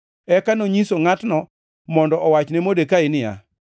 Eka nonyiso ngʼatno mondo owach ne Modekai niya,